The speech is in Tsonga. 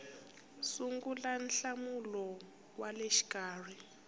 sungula nhlawulo wa le xikarhi